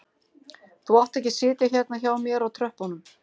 Þú átt ekki að sitja hérna hjá mér á tröppunum